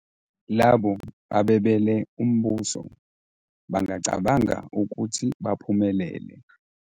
Labo abebele umbuso bangacabanga ukuthi baphumelele.